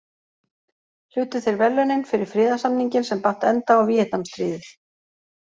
Hlutu þeir verðlaunin fyrir friðarsamninginn sem batt enda á Víetnamstríðið.